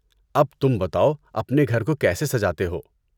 اب، تم بتاؤ اپنے گھر کو کیسے سجاتے ہو؟